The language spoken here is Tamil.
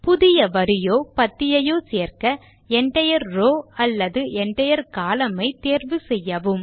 புதிய வரியோ பத்தியையோ சேர்க்க என்டயர் ரோவ் அல்லது என்டயர் கோலம்ன் ஐ தேர்வு செய்யவும்